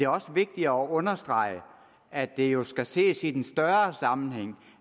også vigtigt at understrege at det jo skal ses i en større sammenhæng